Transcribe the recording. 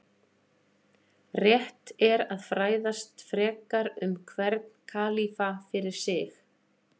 Rétt er að fræðast frekar um hvern kalífa fyrir sig.